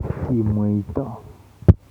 Kimweito